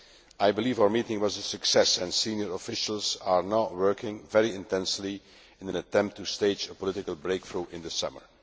I believe our meeting was a success, and senior officials are now working intensively in an attempt to stage a political breakthrough in the summer.